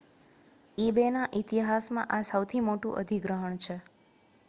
ebayના ઇતિહાસમાં આ સૌથી મોટું અધિગ્રહણ છે